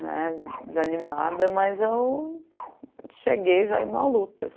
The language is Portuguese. né desanimada, mas eu cheguei já indo à luta.